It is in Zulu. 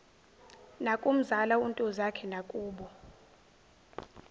nakumzala untozakhe nakubo